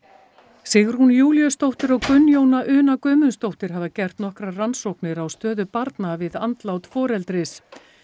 Sigrún Júlíusdóttir og Gunnjóna Una Guðmundsdóttir hafa gert nokkrar rannsóknir á stöðu barna við andlát foreldris